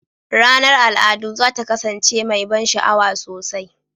Ranar al'adu za ta kasance mai ban sha'awa sosai.